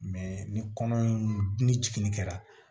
ni kɔnɔ in ni jiginni kɛra